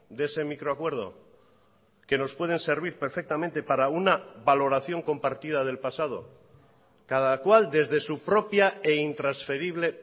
de ese microacuerdo que nos pueden servir perfectamente para una valoración compartida del pasado cada cual desde su propia e intransferible